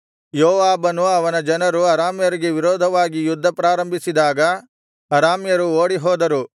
ಯೋವಾಬನು ಅವನ ಜನರು ಅರಾಮ್ಯರಿಗೆ ವಿರೋಧವಾಗಿ ಯುದ್ಧ ಪ್ರಾರಂಭಿಸಿದಾಗ ಅರಾಮ್ಯರು ಓಡಿಹೋದರು